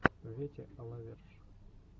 вете а ла верш